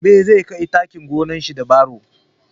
Gobe zai kai taki gonar shi da baro